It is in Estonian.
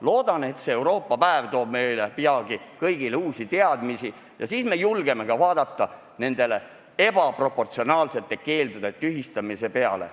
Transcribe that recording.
Loodan, et see Euroopa päev toob meile peagi kõigile uusi teadmisi ja siis me julgeme mõelda ka nende ebaproportsionaalsete keeldude tühistamise peale.